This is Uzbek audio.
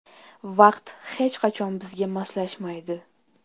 Vaqt hech qachon bizga moslashmaydi.